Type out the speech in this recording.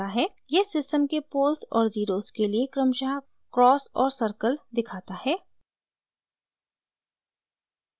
यह सिस्टम के पोल्स और ज़ीरोज़ के लिए क्रमशः क्रॉस और सर्कल दिखाता है